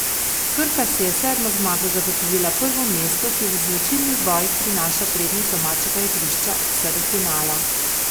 Krka si je s sedmo zmago zagotovila prvo mesto, ki v izločilnih bojih prinaša prednost domačega igrišča vse do finala.